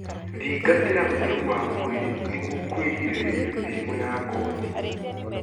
Thingatĩra ũtheru wa mwĩrĩ nĩguo kugirĩrĩria mĩrimũ ya ngothi